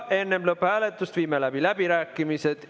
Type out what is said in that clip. Enne lõpphääletust viime läbi läbirääkimised.